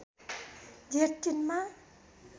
जेठ ३ मा